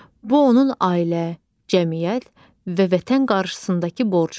Bu onun ailə, cəmiyyət və vətən qarşısındakı borcudur.